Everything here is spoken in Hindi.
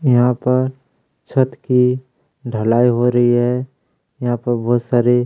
यहाँ पर छत की ढलाई हो रही है यहाँ पर बहुत सारे--